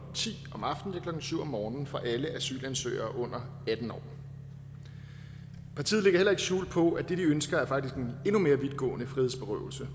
syv om morgenen for alle asylansøgere under atten år partiet lægger heller ikke skjul på at det de ønsker faktisk er en endnu mere vidtgående frihedsberøvelse